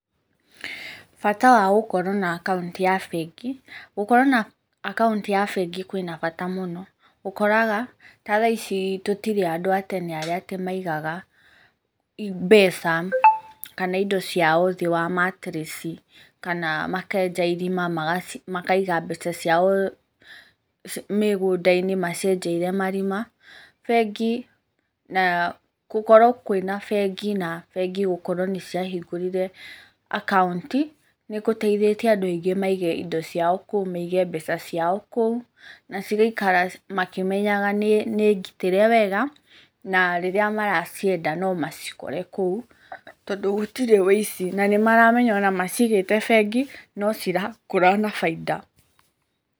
Bata wa gũkorwo na akaunti ya bengi, gũkorwo na akaunti ya bengi kwĩna bata mũno, ũkoraga ta thaa ici tũtirĩ andũ a tene arĩa atĩ maigaga mbeca kana indo ciao thĩ wa mattress kana makenja irima makaci makaiga mbeca ciao mĩgũnda-inĩ, macienjeire marima, bengi na gũkorwo kwĩna bengi, na bengi gũkorwo nĩ ciahingũrire akaunti, nĩ gũteithĩtie andũ aingĩ maige indo ciao kũu, maige mbeca ciao kũu, na cigaikara makĩmenyaga nĩ nĩ ngitĩre wega, na rĩrĩa maracienda nomacikore kũu, tondũ gũtirĩ wĩici na nĩmaramenya ona macigĩte bengi no cirakũra na bainda.